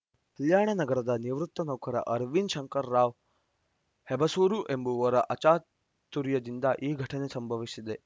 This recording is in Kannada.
ಕಲ್ಯಾಣನಗರದ ನಿವೃತ್ತ ನೌಕರ ಅರವಿಂದ ಶಂಕರರಾವ್‌ ಹೆಬಸೂರ ಎಂಬುವರ ಅಚಾತುರ್ಯದಿಂದ ಈ ಘಟನೆ ಸಂಭವಿಸಿದೆ